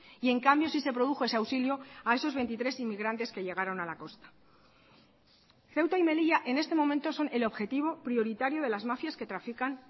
y en cambio sí se produjo ese auxilio a esos veintitrés inmigrantes que llegaron a la costa ceuta y melilla en este momento son el objetivo prioritario de las mafias que trafican